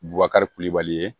Bubakari kulibali ye